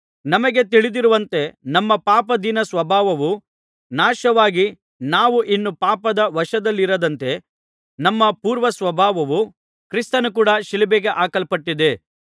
ನಮಗೆ ತಿಳಿದಿರುವಂತೆ ನಮ್ಮ ಪಾಪಾಧೀನಸ್ವಭಾವವು ನಾಶವಾಗಿ ನಾವು ಇನ್ನೂ ಪಾಪದ ವಶದಲ್ಲಿರದಂತೆ ನಮ್ಮ ಪೂರ್ವಸ್ವಭಾವವು ಕ್ರಿಸ್ತನ ಕೂಡ ಶಿಲುಬೆಗೆ ಹಾಕಲ್ಪಟ್ಟಿದೆ